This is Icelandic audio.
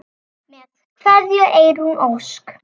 Með kveðju, Eyrún Ósk.